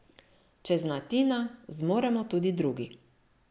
Če zna Tina, zmoremo tudi drugi.